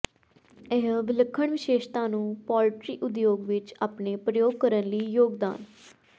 ਇਹ ਵਿਲੱਖਣ ਵਿਸ਼ੇਸ਼ਤਾ ਨੂੰ ਪੋਲਟਰੀ ਉਦਯੋਗ ਵਿੱਚ ਆਪਣੇ ਪ੍ਰਯੋਗ ਕਰਨ ਲਈ ਯੋਗਦਾਨ